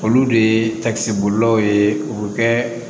Olu de ye takisi bolilaw ye u bɛ kɛ